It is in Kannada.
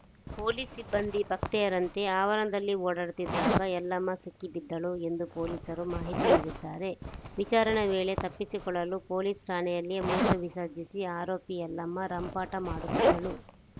ಪೊಲೀಸ್‌ ಸಿಬ್ಬಂದಿ ಭಕ್ತೆಯರಂತೆಯೇ ಆವರಣದಲ್ಲಿ ಓಡಾಡುತ್ತಿದ್ದಾಗ ಯಲ್ಲಮ್ಮ ಸಿಕ್ಕಿಬಿದ್ದಳು ಎಂದು ಪೊಲೀಸರು ಮಾಹಿತಿ ನೀಡಿದ್ದಾರೆ ವಿಚಾರಣೆ ವೇಳೆ ತಪ್ಪಿಸಿಕೊಳ್ಳಲು ಪೊಲೀಸ್‌ ಠಾಣೆಯಲ್ಲಿಯೇ ಮೂತ್ರ ವಿಸರ್ಜಿಸಿ ಆರೋಪಿ ಯಲ್ಲಮ್ಮ ರಂಪಾಟ ಮಾಡುತ್ತಿದ್ದಳು